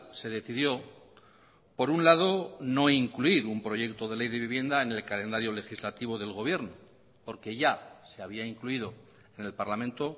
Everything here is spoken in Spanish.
se decidió por un lado no incluir un proyecto de ley de vivienda en el calendario legislativo del gobierno porque ya se había incluido en el parlamento